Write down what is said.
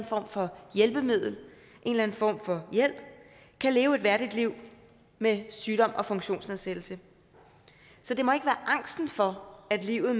form for hjælpemiddel en eller anden form for hjælp kan leve et værdigt liv med sygdom og funktionsnedsættelse så det må ikke være angsten for at livet